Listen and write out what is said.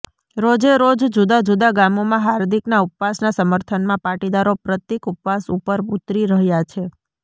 રોજેરોજ જુદા જુદા ગામોમાં હાર્દિકના ઉપવાસના સમર્થનમાં પાટીદારો પ્રતિક ઉપવાસ ઉપર ઉતરી રહ્યા છે